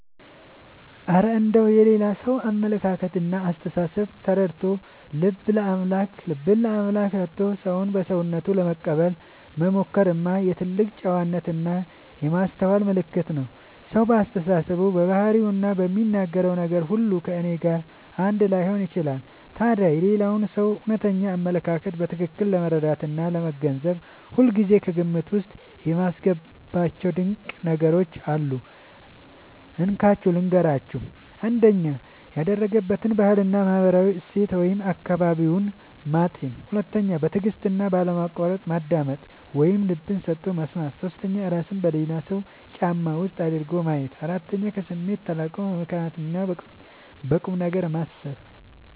እረ እንደው የሌላ ሰውን አመለካከትና አስተሳሰብ ተረድቶ፣ ልብን ለአምላክ ሰጥቶ ሰውን በሰውነቱ ለመቀበል መሞከርማ የትልቅ ጨዋነትና የማስተዋል ምልክት ነው! ሰው በአስተሳሰቡ፣ በባህሪውና በሚናገረው ነገር ሁሉ ከእኔ ጋር አንድ ላይሆን ይችላል። ታዲያ የሌላውን ሰው እውነተኛ አመለካከት በትክክል ለመረዳትና ለመገንዘብ ሁልጊዜ ከግምት ውስጥ የማስገባቸው ድንቅ ነገሮች አሉ፤ እንካችሁ ልንገራችሁ - 1. ያደገበትን ባህልና ማህበራዊ እሴት (አካባቢውን) ማጤን 2. በትዕግስትና ባለማቋረጥ ማዳመጥ (ልብ ሰጥቶ መስማት) 3. እራስን በሌላው ሰው ጫማ ውስጥ አድርጎ ማየት 4. ከስሜት ተላቆ በምክንያትና በቁምነገር ማሰብ